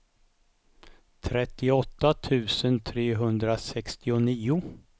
trettioåtta tusen trehundrasextionio